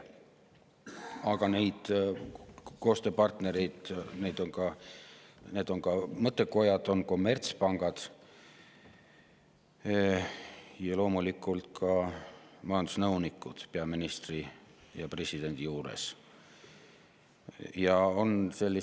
Aga koostööpartnerid on ka mõttekojad, kommertspangad ja loomulikult ka peaministri ja presidendi majandusnõunikud.